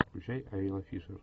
включай айла фишер